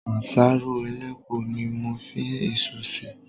Àsáró elépo ni mo fi isu sè.